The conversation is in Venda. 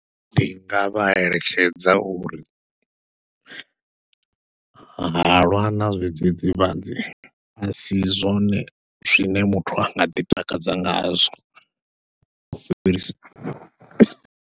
Ndi nga vha eletshedza uri halwa na zwidzidzivhadzi a si zwone zwine muthu anga ḓi takadza ngazwo u fhirisa.